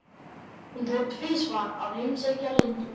Hún fór tvisvar að heimsækja Lindu.